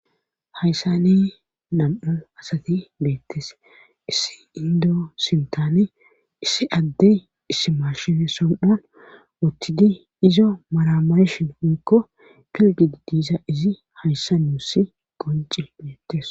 Hayssani nam'u asati beettes issi indo sintane issi addey issimarshene som7on wuttidi izo maramayshin hoykko pilgidi diisa izi hayssa nuussi qonci bettes.